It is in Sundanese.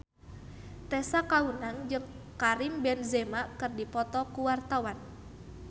Tessa Kaunang jeung Karim Benzema keur dipoto ku wartawan